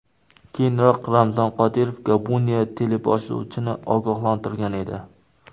Keyinroq Ramzan Qodirov Gabuniya teleboshlovchini ogohlantirgan edi .